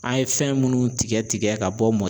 An ye fɛn minnu tigɛ tigɛ ka bɔ mɔ